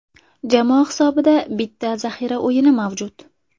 Jamoa hisobida bitta zaxira o‘yini mavjud.